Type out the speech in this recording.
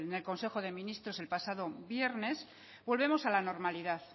en el consejo de ministros el pasado viernes volvemos a la normalidad